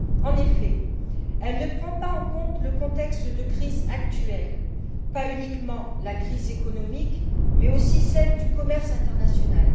En effet, elle ne prend pas en compte le contexte de crise actuelle, pas uniquement la crise économique, mais aussi celle du commerce international.